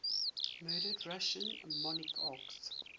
murdered russian monarchs